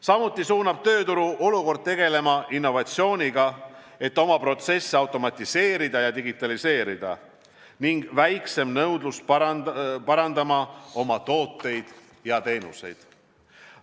Samuti suunab tööturu olukord tegelema innovatsiooniga, et oma protsesse automatiseerida ja digitaliseerida, ning väiksem nõudlus parandama oma tooteid ja teenuseid.